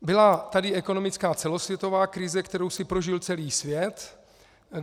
Byla tady ekonomická celosvětová krize, kterou si prožil celý svět.